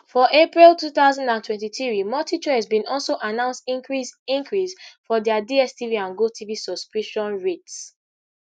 for april two thousand and twenty-three multichoice bin also announce increase increase for dia dstv and gotv subscription rates